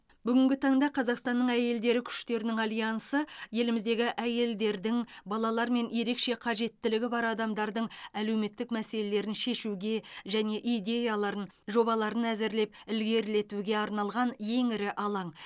бүгінгі таңда қазақстанның әйелдері күштерінің альянсы еліміздегі әйелдердің балалар мен ерекше қажеттілігі бар адамдардың әлеуметтік мәселелерін шешуге және идеяларын жобаларын әзірлеп ілгерілетуге арналған ең ірі алаң